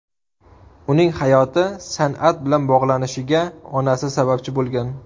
Uning hayoti san’at bilan bog‘lanishiga onasi sababchi bo‘lgan.